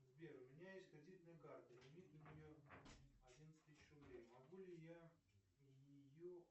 сбер у меня есть кредитная карта лимит на нее одиннадцать тысяч рублей могу ли я ее